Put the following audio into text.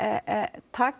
taka